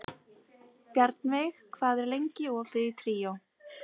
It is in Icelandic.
Bjarnveig, hvað er lengi opið í Tríó?